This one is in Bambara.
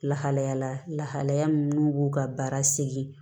Lahalayala lahalaya min n'u b'u ka baara segin